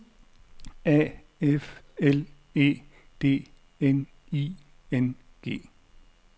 A F L E D N I N G